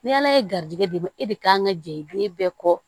Ni ala ye garijɛgɛ d'i ma e de kan ka jɛ den bɛɛ kɔ